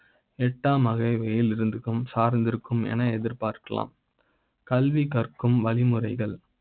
எட்டா ம் அகவை யில் இருக்கும் சார்ந்தே இருக்கும் என எதிர்பார்க்க லாம். கல்வி காக்கும் வழிமுறைகள்.